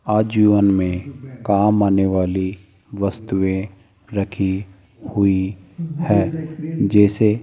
आजीवन में काम आने वाली वस्तुएं रखी हुई हैं जैसे --